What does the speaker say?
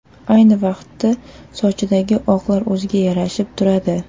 Ayni vaqtda sochidagi oqlar o‘ziga yarashib turadi.